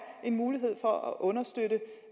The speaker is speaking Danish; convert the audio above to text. en mulighed for at understøtte